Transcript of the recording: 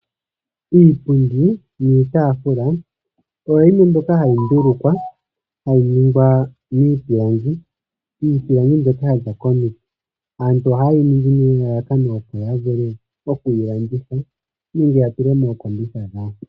Iipundi niitafula oyo yimwe mbyoka hayi ndulukwa, hayi ningwa miipilangi. Iipilangi mbyoka yaza komiti, oha yeyi ningi nelalakano opo ya vule okuyi landitha nenge ya tule mookombitha dhawo.